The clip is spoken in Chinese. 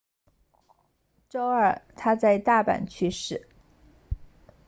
周二他在大阪去世